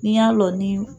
N'i y'a dɔn ni